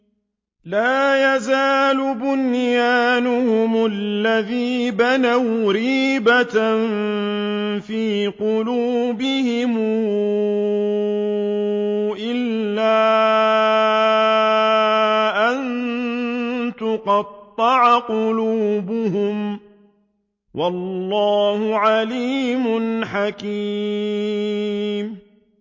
لَا يَزَالُ بُنْيَانُهُمُ الَّذِي بَنَوْا رِيبَةً فِي قُلُوبِهِمْ إِلَّا أَن تَقَطَّعَ قُلُوبُهُمْ ۗ وَاللَّهُ عَلِيمٌ حَكِيمٌ